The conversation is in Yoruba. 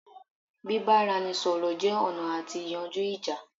bíbáranisọ̀rọ̀ jẹ́ ọ̀nà àti yanjú ìjà